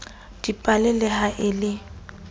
dipale le ha e le